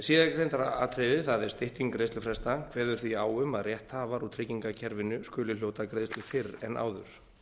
króna síðargreinda atriðið það er stytting greiðslufresta kveður því á um að rétthafar úr tryggingakerfinu skuli hljóta greiðslu fyrr en áður